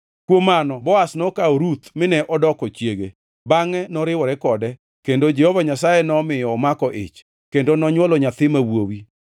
Kuom mano Boaz nokawo Ruth mine odoko chiege. Bangʼe noriwore kode, kendo Jehova Nyasaye nomiyo omako ich, kendo nonywolo nyathi ma wuowi.